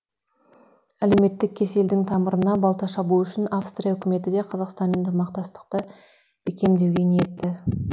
әлеуметтік кеселдің тамырына балта шабу үшін австрия үкіметі де қазақстанмен ынтымақты бекемдеуге ниетті